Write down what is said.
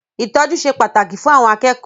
Ìtọ́jú ṣe pàtàkì fún àwọn akẹ́kọ̀ọ́.